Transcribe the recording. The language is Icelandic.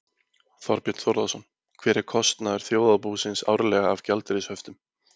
Þorbjörn Þórðarson: Hver er kostnaður þjóðarbúsins árlega af gjaldeyrishöftum?